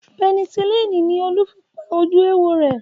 Penicillini ni Olú fi pa ojú éwo rẹ̀